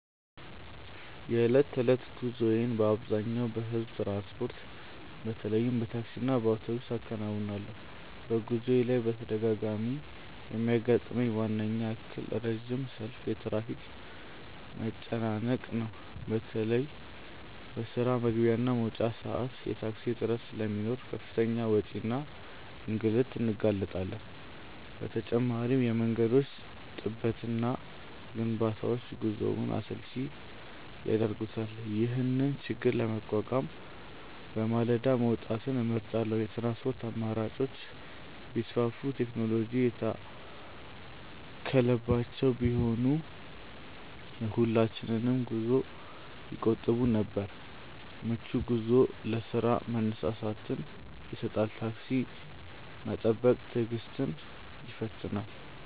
የዕለት ተዕለት ጉዞዬን በአብዛኛው በሕዝብ ትራንስፖርት፣ በተለይም በታክሲና በአውቶቡስ አከናውናለሁ። በጉዞዬ ላይ በተደጋጋሚ የሚያጋጥመኝ ዋናው እክል ረጅም ሰልፍና የትራፊክ መጨናነቅ ነው። በተለይ በስራ መግቢያና መውጫ ሰዓት የታክሲ እጥረት ስለሚኖር ለከፍተኛ ወጪና ለእንግልት እንጋለጣለን። በተጨማሪም የመንገዶች ጥበትና ግንባታዎች ጉዞውን አሰልቺ ያደርጉታል። ይህንን ችግር ለመቋቋም በማለዳ መውጣትን እመርጣለሁ። የትራንስፖርት አማራጮች ቢሰፉና ቴክኖሎጂ የታከለባቸው ቢሆኑ የሁላችንንም ጊዜ ይቆጥቡ ነበር። ምቹ ጉዞ ለስራ መነሳሳትን ይሰጣል። ታክሲ መጠበቅ ትዕግስትን ይፈትናል።